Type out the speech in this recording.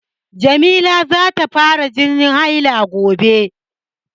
Jamila za ta fara jinin haila gobe.